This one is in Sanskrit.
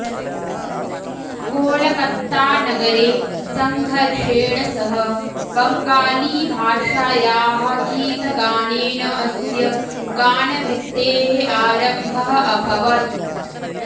कोलकत्तानगरे सङ्घर्षेण सह बङ्गालीभाषायाः गीतगानेन अस्य गानवृत्तेः आरम्भः अभवत्